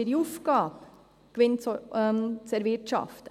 Es ist ihre Aufgabe, Gewinn zu erwirtschaften.